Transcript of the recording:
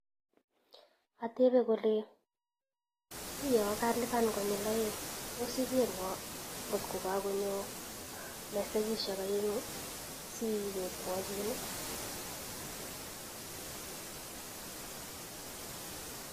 Atepet kole uyo kailipan konyil oeng tos ikerwo kotko kakonyo mesegishek oengu asiwekwo chun.